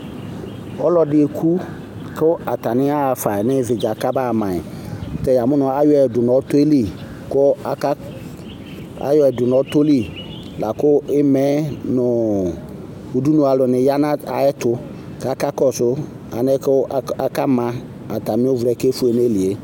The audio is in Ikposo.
Ɔlɔdɩ eku kʋ atanɩ aɣafa n'ɩvɩdza kabaɣa mayi Tɛ ya mʋ tɛ ayɔyi dʋ nʋ ɔtɔ yɛ li ku aka, ayɔyi dʋ n'ɔtɔ li, lakʋ ima yɛ nʋ udunu alʋnɩ ya nʋ ayɛtʋ k'akakɔsʋ alɛna yɛ k'aka ma atamɩ ɩvla yɛ kefue n'ayili yɛ